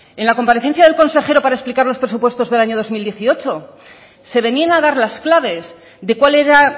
en la comparecencia del consejero para explicar los presupuestos del año dos mil dieciocho se venían a dar las claves de cuál era